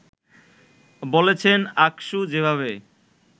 বলেছেন, আকসু যেভাবে